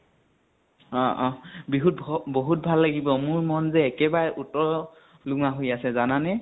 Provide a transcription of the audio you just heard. অ অ । বিহুত ভ বহুত ভাল লাগিব, মোৰ মন যে একেবাৰে উত্ল লোমা হৈ আছে জানানে?